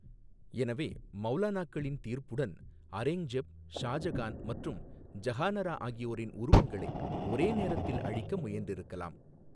எனவே மவுலானாக்களின் தீர்ப்புடன் அரேங்ஜெப், ஷாஜகான் மற்றும் ஜஹானாரா ஆகியோரின் உருவங்களை ஒரே நேரத்தில் அழிக்க முயன்றிருக்கலாம்.